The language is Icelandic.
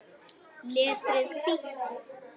Letrið hvítt.